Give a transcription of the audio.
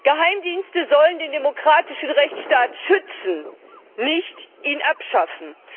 Geheimdienste sollen den demokratischen Rechtsstaat schützen, nicht ihn abschaffen.